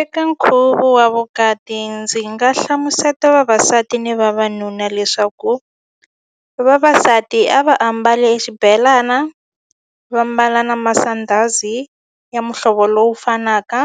Eka nkhuvo wa vukati ndzi nga hlamuseta vavasati ni vavanuna leswaku vavasati a va ambale exibelana vambala na masandhazi ya muhlovo lowu fanaka